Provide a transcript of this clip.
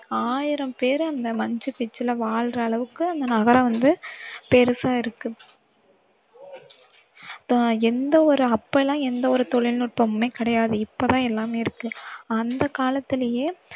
ஆயிரம் பேரு அந்த மச்சு பிச்சுல வாழற அளவுக்கு அந்த நகரம் வந்து பெருசா இருக்கு இப்ப எந்த ஒரு அப்ப எல்லாம் எந்த ஒரு தொழில்நுட்பமுமே கிடையாது இப்பதான் எல்லாமே இருக்கு அந்த காலத்திலயே